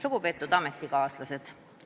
Lugupeetud ametikaaslased!